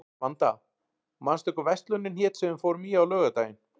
Vanda, manstu hvað verslunin hét sem við fórum í á laugardaginn?